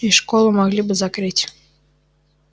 и школу могли бы закрыть